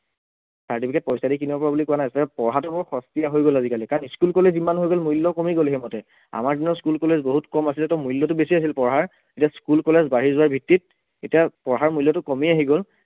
certificate পইচা দি কিনিব পৰা বুলি কোৱা নাই তাৰপাছত পঢ়াটো বৰ সস্তীয়া হৈ গল আজিকালি কাৰণ school, college ইমান হৈ গল মূল্য় কমি গল সেইমতে, আমাৰ দিনত school, college বহুত কম আছিলে ত মূল্য়টো বেছি আছিলে পঢ়াৰ যে school, college বাঢ়ি যোৱাৰ ভিত্তিত এতিয়া পঢ়াৰ মূল্য়টো কমি আহি গল